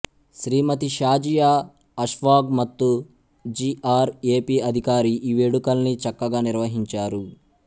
శ్రీమతి షాజియా అష్ఫాగ్ మత్తు G R A P అధికారి ఈ వేడుకల్ని చక్కగా నిర్వహించారు